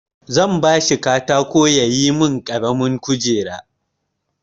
Zan ba shi katako ya yi min ƙaramin kujera.